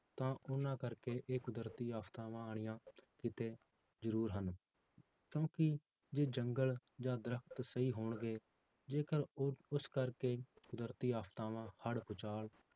ਤਾਂ ਉਹਨਾਂ ਕਰਕੇ ਇਹ ਕੁਦਰਤੀ ਆਫ਼ਤਾਵਾਂ ਆਉਣੀਆਂ ਕਿਤੇ ਜ਼ਰੂਰ ਹਨ, ਕਿਉਂਕਿ ਜੇ ਜੰਗਲ ਜਾਂ ਦਰਖਤ ਸਹੀ ਹੋਣਗੇ, ਜੇਕਰ ਉਹ ਉਸ ਕਰਕੇ ਕੁਦਰਤੀ ਆਫ਼ਤਾਵਾਂ ਹੜ੍ਹ ਭੂਚਾਲ